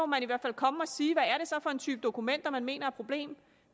man i hvert fald komme og sige hvad det så er for en type dokumenter man mener problem